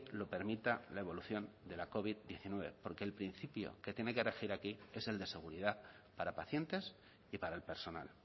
lo permita la evolución de la covid diecinueve porque el principio que tiene que regir aquí es el de seguridad para pacientes y para el personal